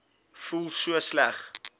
voel so sleg